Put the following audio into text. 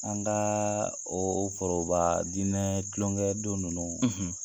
An kaa oo forobaa diinɛɛ tulonkɛdon ninnu